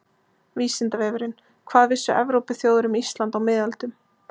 Vísindavefurinn: Hvað vissu Evrópuþjóðir um Ísland á miðöldum?